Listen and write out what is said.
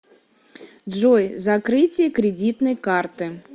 джой закрытие кредитной карты